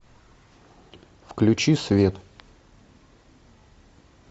включи свет